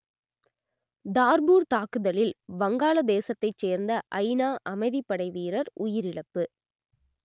Darfur தாக்குதலில் வங்காளதேசத்தைச் சேர்ந்த ஐநா அமைதிப்படை வீரர் உயிரிழப்பு